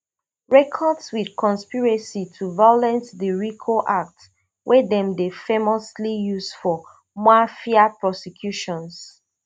records with conspiracy to violate di rico act wey dem dey famously use for mafia prosecutions